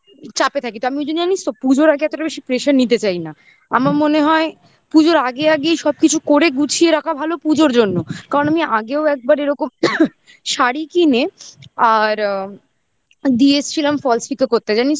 চাপে থাকি তো আমি ওই জন্য জানিস তো পুজোর আগে এতটা বেশি pressure নিতে চাই না আমার মনে হয় পুজোর আগে আগেই সবকিছু করে গুছিয়ে রাখা ভালো পুজোর জন্য কারণ আমি আগেও একবার এরকম শাড়ী কিনে আর অ্যা দিয়ে এসছিলাম falls pico করতে জানিস তো